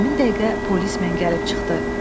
Həmin dəqiqə polis mən gəlib çıxdı.